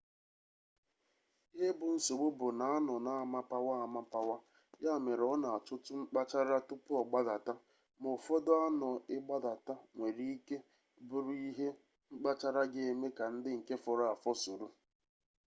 ihe bụ nsogbu bụ na sno na-amapawa amapawa ya mere ọ na-achọtụ mkpachara tupu ọ gbadata ma ụfọdụ sno ịgbadata nwere ike bụrụ ihe mkpachara ga-eme ka ndị nke fọrọ afọ soro